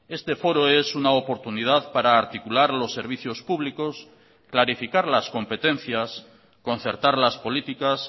este foro es una oportunidad para articular los servicios públicos clarificar las competencias concertar las políticas